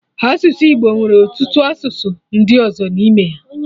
Asụsụ Igbo nwere ọtụtụ asụsụ ndị ọzọ n'ime ya